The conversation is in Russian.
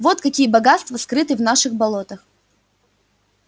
вот какие богатства скрыты в наших болотах